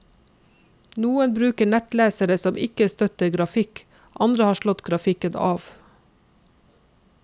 Noen bruker nettlesere som ikke støtter grafikk, andre har slått grafikken av.